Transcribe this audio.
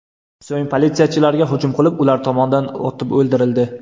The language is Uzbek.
So‘ng politsiyachilarga hujum qilib, ular tomonidan otib o‘ldirildi .